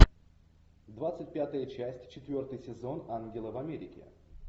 двадцать пятая часть четвертый сезон ангелы в америке